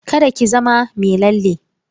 Kada ki zama mai lalle.